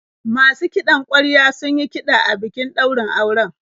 Masu kiɗan ƙwarya sun yi kiɗa a bikin daurin auren.